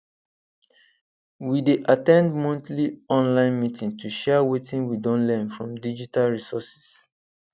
we dey at ten d monthly online meeting to share wetin we don learn from digital resources